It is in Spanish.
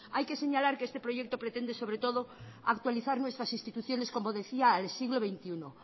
hay que señalar que este proyecto pretende sobre todo actualizar nuestra instituciones como decía al siglo veintiuno